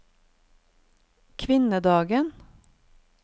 kvinnedagen